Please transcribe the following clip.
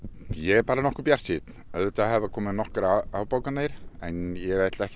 ég er nokkuð bjartsýnn auðvitað hafa komið nokkrar afbókanir en ég ætla ekki